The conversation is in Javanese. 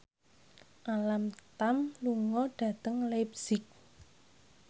Alam Tam lunga dhateng leipzig